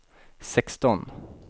sexton